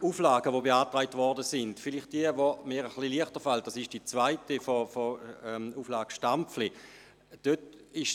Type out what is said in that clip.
Zu den beiden beantragten Auflagen: Die zweite Auflage, jene von Grossrat Stampfli, fällt mir etwas leichter.